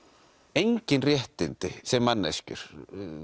engin réttindi sem manneskjur